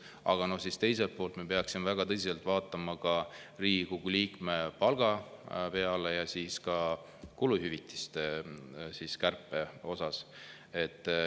Aga teiselt poolt me peaksime siis väga tõsiselt vaatama Riigikogu liikme palga peale ja ka kuluhüvitiste kärpele.